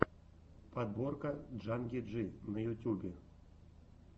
подборка джанги джи на ютьюбе